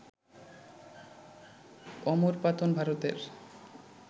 অমরপাতান, ভারতের